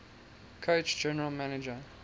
coach general manager